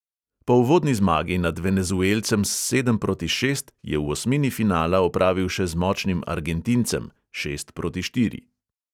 Po uvodni zmagi nad venezuelcem s sedem proti šest je v osmini finala opravil še z močnim argentincem (šest proti štiri).